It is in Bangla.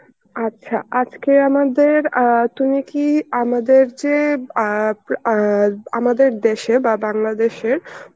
আচ্ছা আজকে আমাদের অ্যাঁ তুমি কি আমাদের যে অ্যাঁ অ্যাঁ আমাদের দেশে বা বাংলাদেশের